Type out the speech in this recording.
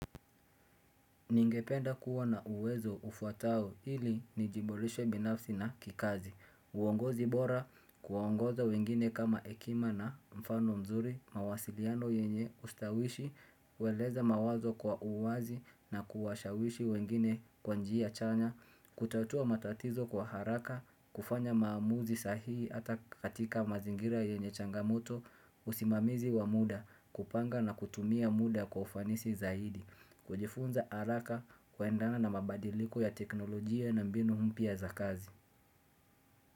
Ningependa kuwa na uwezo ufautao ili nijiboreshe binafsi na kikazi. Uongozi bora, kuongoza wengine kama hekima na mfano mzuri, mawasiliano yenye ustawishi, hueleza mawazo kwa uwazi na kuwashawishi wengine kwa njia chanya, kutatua matatizo kwa haraka, kufanya maamuzi sahihi hata katika mazingira yenye changamoto, usimamizi wa muda, kupanga na kutumia muda kwa ufanisi zaidi. Kujifunza haraka kuendana na mabadiliko ya teknolojia na mbinu mpya za kazi.